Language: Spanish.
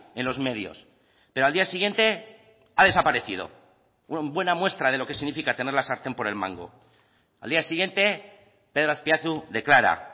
en los medios pero al día siguiente ha desaparecido buena muestra de lo que significa tener la sartén por el mango al día siguiente pedro azpiazu declara